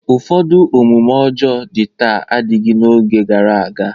Ụfọdụ omume ọjọọ dị taa adịghị n'oge gara aga.